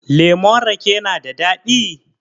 Lemon rake na da daɗi?